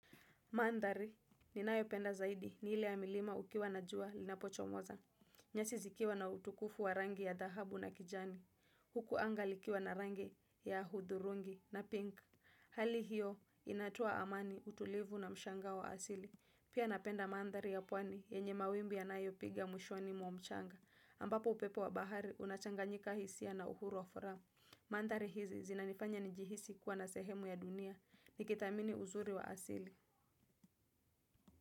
Mantari ninayopenda zaidi ni ile ya milima ukiwa najua linachomoza. Nyasi zikiwa na utukufu wa rangi ya dhahabu na kijani. Huku anga likiwa na rangi ya hudhurungi na pink. Hali hiyo inatoa amani utulivu na mshangao wa asili. Pia napenda mandari ya pwani yenye mawimbi yanayo piga mwishoni mwamchanga. Ambapo upepo wa bahari unachanganyika hisia na uhuru wa furaha. Mandari hizi zinanifanya nijihisi kuwa na sehemu ya dunia. Nikithamini uzuri wa asili.